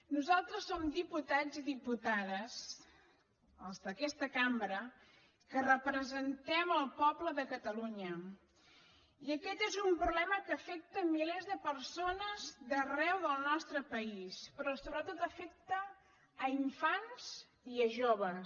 nosaltres som diputats i diputades els d’aquesta cambra que representem el poble de catalunya i aquest és un problema que afecta milers de persones d’arreu del nostre país però sobretot afecta infants i joves